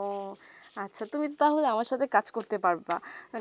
ওহ আচ্ছা তুমি তা হলে আমার সাথে কাজ করতে পারব